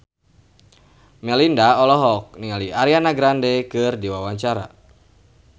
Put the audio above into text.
Melinda olohok ningali Ariana Grande keur diwawancara